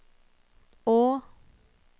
å